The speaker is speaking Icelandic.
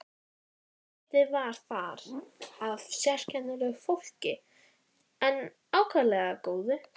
Uss, þú í bækurnar rýnir og vitglórunni týnir.